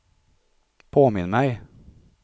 påminn mig